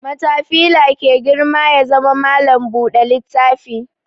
Matafila ke girma ya zama malam buɗe littafi